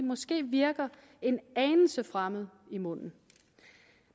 måske virker en anelse fremmed i munden